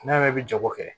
Ne yɛrɛ bɛ jago kɛ